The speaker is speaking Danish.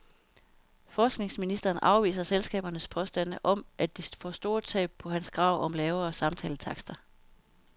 Forskningsministeren afviser selskabernes påstande om, at de får store tab på hans krav om lavere samtaletakster.